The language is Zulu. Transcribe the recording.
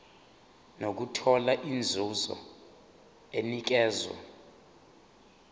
nokuthola inzuzo enikezwa